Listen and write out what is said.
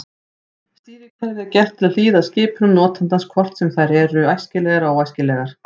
Stýrikerfið er gert til að hlýða skipunum notandans hvort sem þær eru æskilegar eða óæskilegar.